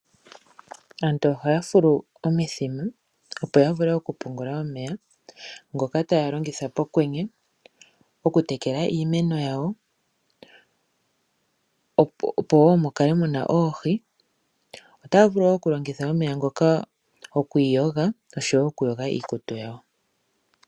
Aantu ohaya fulu omithima opo ya vule okupungula omeya ngoka taya longitha pokwenye okutekela iimeno, opo woo mu kale muna oohi. Otaya vulu oku longitha omeya ngoka okwiiyoga osho woo okuyoga iikutu.